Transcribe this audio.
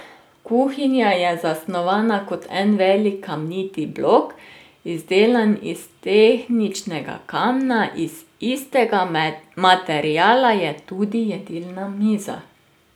Kuhinja je zasnovana kot en velik kamniti blok, izdelan iz tehničnega kamna, iz istega materiala je tudi jedilna miza.